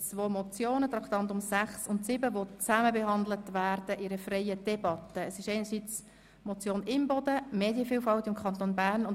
Wir kommen zu den Traktanden 6 und 7 der Staatskanzlei, die gemeinsam beraten werden.